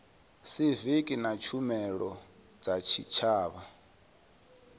siviki na tshumelo dza tshitshavha